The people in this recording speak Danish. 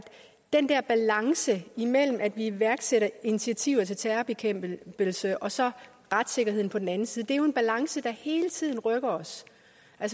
den der balance imellem at vi iværksætter initiativer til terrorbekæmpelse og så retssikkerheden på den anden side er en balance der hele tiden rykker os